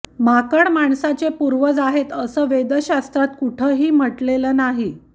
माकड माणसाचे पूर्वज आहेत असं वेद शास्त्रात कुठंही म्हटलेलं नाही